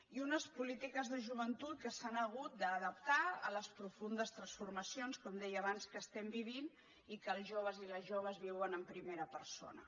i unes polítiques de joventut que s’han hagut d’adaptar a les profundes transformacions com deia abans que estem vivint i que els joves i les joves viuen en primera persona